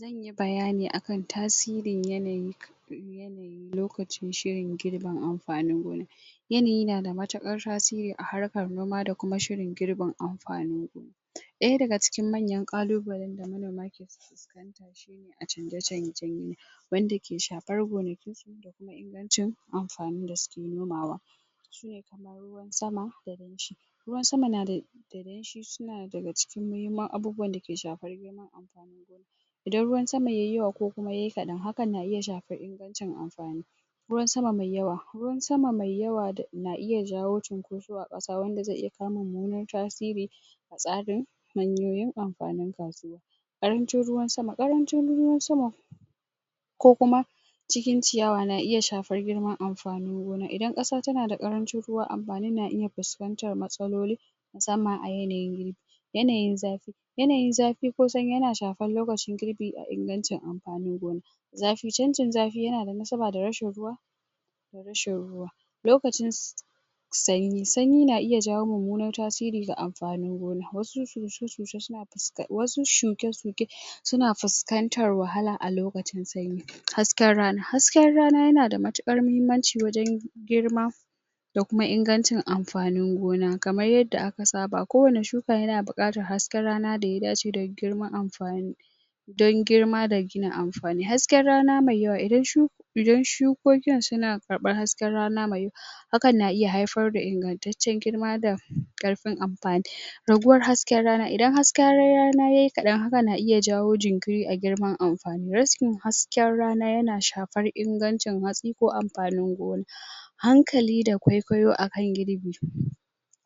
zanyi bayani akan tasirin yanayi lokacin shirin girbin amfanin gona yanayi na da matuƙar tasiri a harkar noma da kuma shirin girbin amfanin gona ɗaya daga cikin manyan ƙalubalen da manoma ke fuskanta shine chanje chanjen yanayi wanda ke shafar gonakinsu da kuma ingancin amfanin da suke nomawa shine kamar ruwan sama da danshi ruwan sama da danshi suna daga cikin muhimman abubuwan dake shafar girman amfanin gona idan ruwan sama yayi yawa ko kuma yayi kaɗan hakan na iya shafar ingancin amfani ruwan sama mai yawa, ruwan sama mai yawa na iya jawo cinkoso a ƙasa wanda zai iya kawo mummunan tasiri a tsarin hanyoyin amfanin kasuwa ƙarancin ruwan sama ƙarancin ruwan sama ko kuma cikin ciyawa na iya shafar girman amfanin gona idan ƙasa tana da ƙarancin ruwa amfani na iya fuskantar matsaloli musamman a yanayin girbi yanayin zafi, yanayin zafi ko sanyi yana shafar lokacin girbi a ingancin amfanin gona zafi chanjin zafi yana da nasaba da rashin ruwa da rashin ruwa lokacin sanyi, sanyi na iya jawo mummunan tasiri ga amfanin gona wasu shushi shush suna wasu shuke shuke suna fuskantar wahala a lokacin sanyi hasken rana, hasken rana yana da matuƙar muhammanci wajen girma da kuma ingancin amfanin gona kamar yadda aka saba ko wani shuka yana buƙatar hasken rana da ya dace da girman amfani don girma da gina amfani hasken rana mai yawa idan shu idan shukokin suna ƙarbar hasken rana mai yawa hakan na iya haifar da ingantaccen girma da ƙarfin amfani raguwar hasken rana idan hasken rana yayi kaɗan haka na iya jawo jinkiri a girman amfani rashin hasken rana na shafar ingancin hatsi ko amfanin gona hankali da kwaikwayo akan girbi